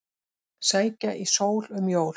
Sækja í sól um jól